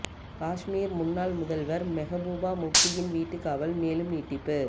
காஷ்மீர் முன்னாள் முதல்வர் மெகபூபா முப்தியின் வீட்டு காவல் மேலும் நீட்டிப்பு